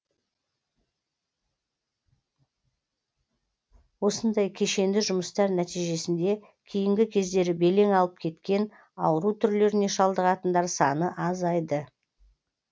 осындай кешенді жұмыстар нәтижесінде кейінгі кездері белең алып кеткен ауру түрлеріне шалдығатындар саны азайды